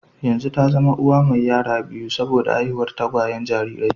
Yanzu ta zama uwa mai yara biyu saboda haihuwar tagwayen jarirai